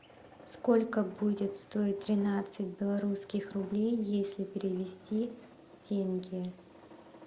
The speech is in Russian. сколько будет стоить тринадцать белорусских рублей если перевести в тенге